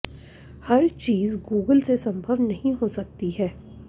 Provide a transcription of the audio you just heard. हर चीज गूगल से संभव नहीं हो सकती है